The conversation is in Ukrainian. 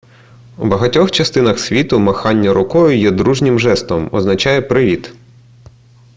у багатьох частинах світу махання рукою є дружнім жестом означає привіт